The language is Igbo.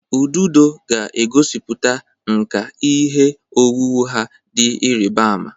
Ududo ga-egosiputa nkà ihe owuwu ha dị ịrịba ama.